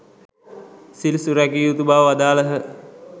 සිල් සුරැකිය යුතු බව වදාළහ.